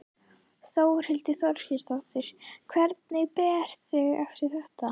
Þórhildur Þorkelsdóttir: Hvernig berðu þig eftir þetta?